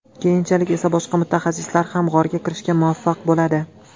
Keyinchalik esa boshqa mutaxassislar ham g‘orga kirishga muvaffaq bo‘ladi.